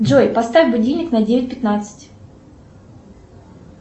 джой поставь будильник на девять пятнадцать